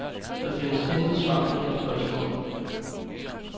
Der findes intet svar på det spørgsmål.